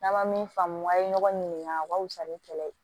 N'an ma min faamu k'aw ye ɲɔgɔn ɲininka o ka wusa ni kɛlɛ ye